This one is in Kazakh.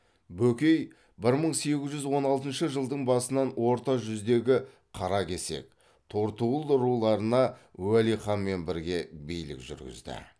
бөкей бір мың сегіз жүз он алтыншы жылдың басынан орта жүздегі қаракесек төртуыл руларына уәли ханмен бірге билік жүргізді